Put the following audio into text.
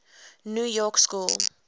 new york school